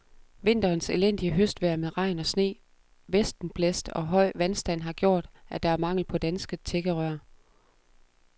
Vinterens elendige høstvejr med regn og sne, vestenblæst og høj vandstand har gjort, at der er mangel på danske tækkerør.